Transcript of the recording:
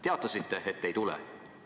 Teatasite, et te ei tule.